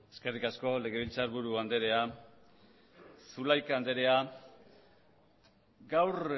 eskerrik asko legebiltzarburu andrea zulaika andrea gaur